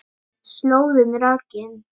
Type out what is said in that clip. Slóðin rakin